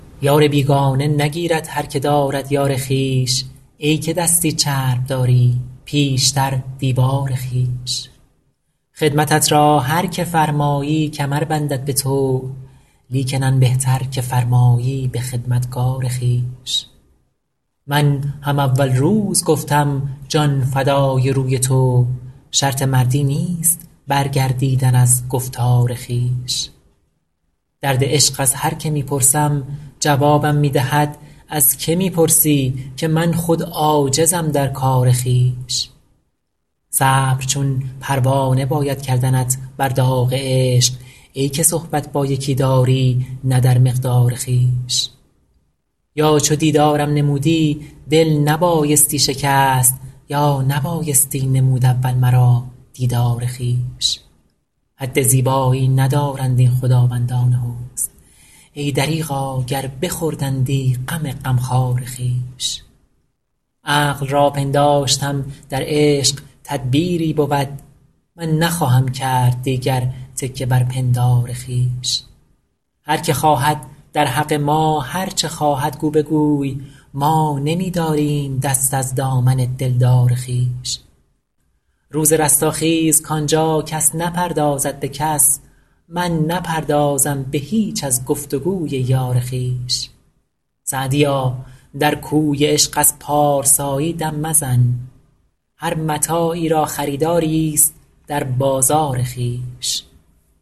یار بیگانه نگیرد هر که دارد یار خویش ای که دستی چرب داری پیشتر دیوار خویش خدمتت را هر که فرمایی کمر بندد به طوع لیکن آن بهتر که فرمایی به خدمتگار خویش من هم اول روز گفتم جان فدای روی تو شرط مردی نیست برگردیدن از گفتار خویش درد عشق از هر که می پرسم جوابم می دهد از که می پرسی که من خود عاجزم در کار خویش صبر چون پروانه باید کردنت بر داغ عشق ای که صحبت با یکی داری نه در مقدار خویش یا چو دیدارم نمودی دل نبایستی شکست یا نبایستی نمود اول مرا دیدار خویش حد زیبایی ندارند این خداوندان حسن ای دریغا گر بخوردندی غم غمخوار خویش عقل را پنداشتم در عشق تدبیری بود من نخواهم کرد دیگر تکیه بر پندار خویش هر که خواهد در حق ما هر چه خواهد گو بگوی ما نمی داریم دست از دامن دلدار خویش روز رستاخیز کان جا کس نپردازد به کس من نپردازم به هیچ از گفت و گوی یار خویش سعدیا در کوی عشق از پارسایی دم مزن هر متاعی را خریداریست در بازار خویش